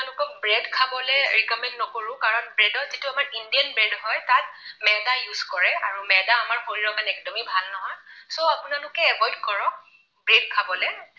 Bread খাবলৈ recommend নকৰো কাৰণ bread ত যিটো আমাৰ indian bread হয় তাত ময়দা use কৰে আৰু ময়দা আমাৰ শৰীৰৰ কাৰণে একদমেই ভাল নহয়। so আপোনালোকে avoid কৰক bread খাবলৈ